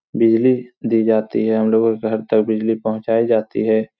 बिजली दी जाती है हमलोगों के घर तक बिजली पहुचाई जाती है।